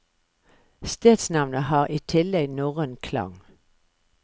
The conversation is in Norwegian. Stedsnavnet har i tillegg norrøn klang.